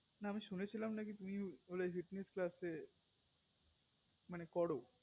না আমি শুনেছিলাম না কি তুমি fitness class এ মানে করো